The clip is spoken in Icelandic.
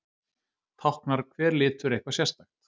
táknar hver litur eitthvað sérstakt